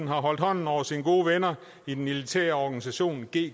har holdt hånden over sine gode venner i den elitære organisation gggi